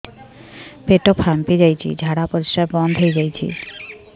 ପେଟ ଫାମ୍ପି ଯାଇଛି ଝାଡ଼ା ପରିସ୍ରା ବନ୍ଦ ହେଇଯାଇଛି